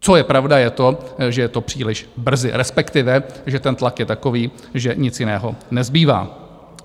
Co je pravda, je to, že je to příliš brzy, respektive že ten tlak je takový, že nic jiného nezbývá.